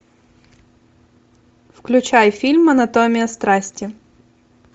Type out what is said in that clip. включай фильм анатомия страсти